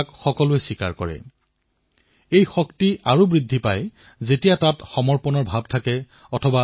বহু প্ৰতিভাশালী আৰু কুশল কাৰিকৰ আছে যিয়ে খেলাসামগ্ৰী অতি নিপুণভাৱে প্ৰস্তুত কৰে